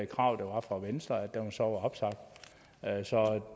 krav der var fra venstre altså at